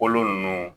Kolo ninnu